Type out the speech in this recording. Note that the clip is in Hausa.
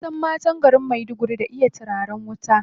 An san matan garin Maiduguri da iya turaren wuta.